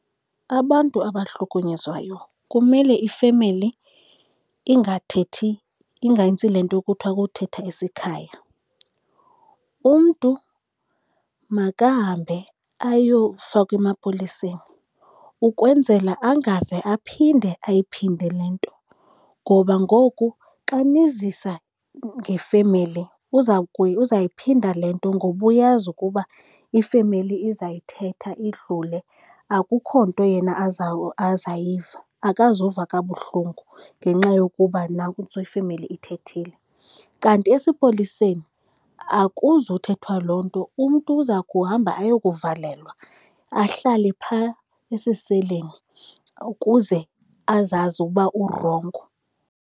Abantu abahlukunyezwayo kumele ifemeli ingathethi, ingenzi le nto kuthiwa ukuthetha isikhaya. Umntu makahambe ayofakwa emapoliseni ukwenzela angaze aphinde ayiphinde le nto, ngoba ngoku xa nizisa ngefemeli uzayiphinda le nto ngoba uyazi ukuba ifemeli izayithetha idlule, akukho nto yena azayiva. Akazuva kabuhlungu ngenxa yokuba ifemeli ithethile, kanti esipoliseni akuzuthethwa loo nto. Umntu uza kuhamba ayokuvalelwa ahlale pha esiseleni ukuze azazi uba urongo.